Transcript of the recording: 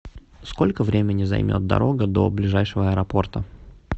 сколько времени займет дорога до ближайшего аэропорта